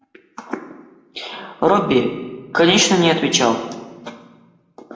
робби конечно не отвечал